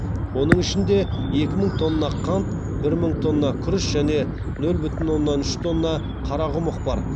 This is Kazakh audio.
оның ішінде екі мың тонна қант бір мың тонна күріш және нөл бүтін оннан үш тонна қарақұмық бар